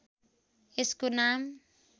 यसको नाम